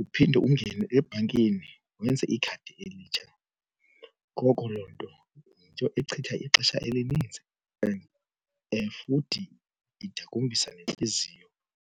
Uphinde ungene ebhankini wenze ikhadi elitsha. Ngoko loo nto yinto echitha ixesha elininzi and futhi idakumbisa nentliziyo.